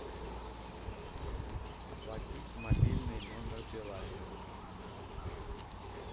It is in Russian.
оплатить мобильный номер билайна